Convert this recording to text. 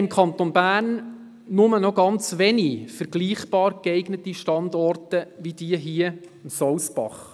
Im Kanton Bern haben wir nur noch sehr wenige vergleichbare geeignete Standorte wie jener am Sousbach.